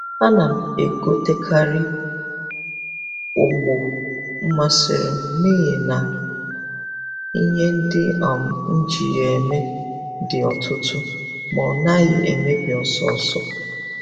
A na m e gotekari ogbo masịrị m n'ihi na ihe ndị um m ji ya eme dị ọtụtụ ma ọ naghịkwa emebi ọsọọsọ